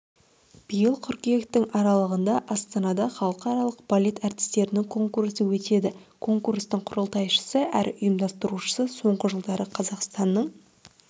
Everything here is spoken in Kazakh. биыл қыркүйектің аралығында астанада халықаралық балет әртістерінің конкурсы өтеді конкурстың құрылтайшысы әрі ұйымдастырушысы соңғы жылдары қазақстанның